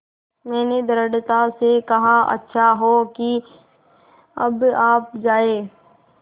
मैंने दृढ़ता से कहा अच्छा हो कि अब आप जाएँ